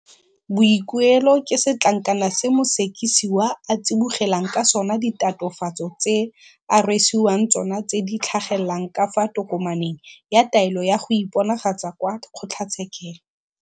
Boikuelo ke setlankana se mosekisiwa a tsibogelang ka sona ditatofatso tse a rwesiwang tsona tse di tlhagelelang ka fa tokomaneng ya taelo ya go iponagatsa kwa kgotlatshekelo.